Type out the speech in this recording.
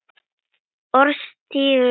Orðstír Lilju lifir.